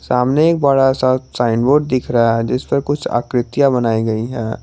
सामने एक बड़ा सा साइन बोर्ड दिख रहा है जिस पर कुछ आकृतियां बनाई गई है।